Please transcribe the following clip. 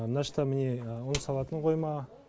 мына жақта міне ұн салатын қойма